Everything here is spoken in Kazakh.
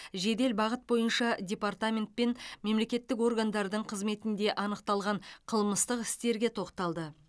жедел бағыт бойынша департаментпен мемлекеттік органдардың қызметінде анықталған қылмыстық істерге тоқталды